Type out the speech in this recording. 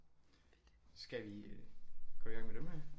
Skal vi øh gå i gang med dem her